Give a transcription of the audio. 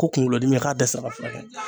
Ko kunkolodimi k'a dɛsɛra ka furakɛ